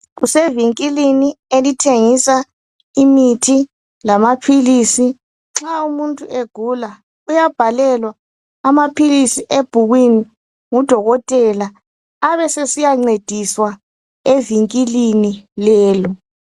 Kusevinkilini elithengisa imithi lamaphilisi. Nxa umuntu egula, uyabhalelwa amaphilisi ebhukwini ngudokotela abe sesiya ncediswa evinkilini lelo.